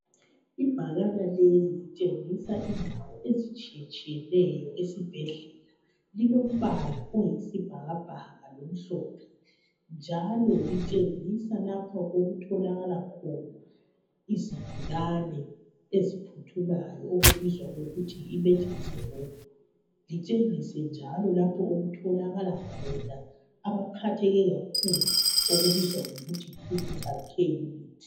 Ibhakana leli litshengisa, indawo ezitshiyetshiyeneyo esibhedlela. Lilombala oyisibhakabhaka, lomhlophe. Njalo litshengisa lapho okutholakala khona izigulane eziphuthumayo. Okubizwa ngokuthi yiEmergency Room. Litshengise njalo lapho okutholakala khona abaphatheke kakhulu. Okubizwa kuthiwe yiCritical Care Unit.